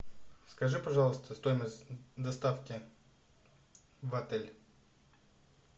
скажи пожалуйста стоимость доставки в отель